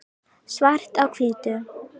svart á hvítu